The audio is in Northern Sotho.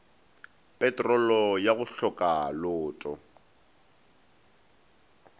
petrolo ya go hloka loto